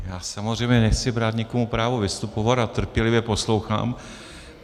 Já samozřejmě nechci brát nikomu právo vystupovat a trpělivě poslouchám.